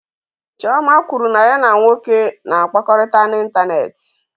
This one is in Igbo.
Chioma kwuru na ya na nwoke na-akpakọrịta n'ịntanetị.